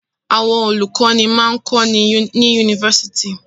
Àwọn olùkọ́ní máa ń kọ́ni ní yunifásitì.